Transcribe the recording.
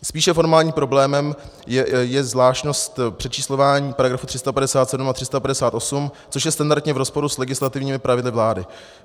Spíše formálním problémem je zvláštnost přečíslování § 357 a § 358, což je standardně v rozporu s legislativními pravidly vlády.